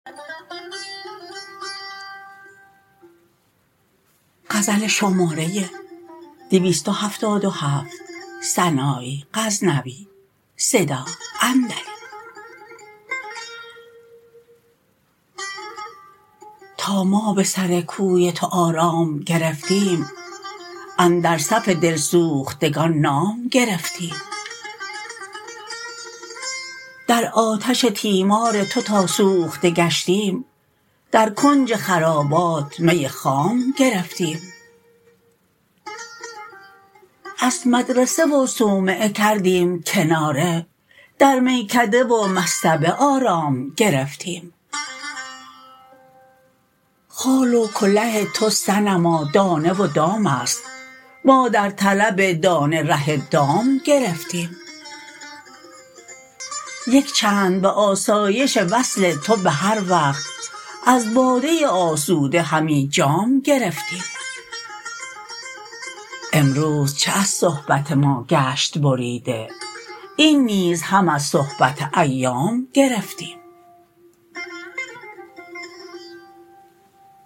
تا ما به سر کوی تو آرام گرفتیم اندر صف دلسوختگان نام گرفتیم در آتش تیمار تو تا سوخته گشتیم در کنج خرابات می خام گرفتیم از مدرسه و صومعه کردیم کناره در میکده و مصطبه آرام گرفتیم خال و کله تو صنما دانه و دامست ما در طلب دانه ره دام گرفتیم یک چند به آسایش وصل تو به هر وقت از باده آسوده همی جام گرفتیم امروز چه ار صحبت ما گشت بریده این نیز هم از صحبت ایام گرفتیم